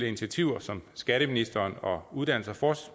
initiativer som skatteministeren og uddannelses og